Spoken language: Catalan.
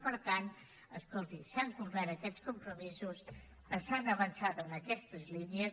per tant escolti s’han complert aquests compromisos s’ha avançat en aquestes línies